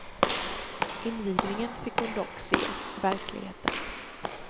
Invigningen fick hon dock se i verkligheten.